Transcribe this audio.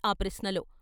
ఆ ప్రశ్నలో.